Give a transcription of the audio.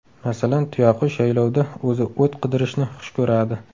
Masalan, tuyaqush yaylovda o‘zi o‘t qidirishni xush ko‘radi.